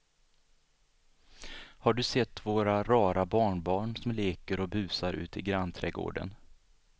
Har du sett våra rara barnbarn som leker och busar ute i grannträdgården!